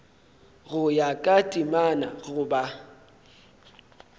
go ya ka temana goba